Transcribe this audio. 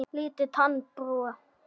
Lítil tannbrú er.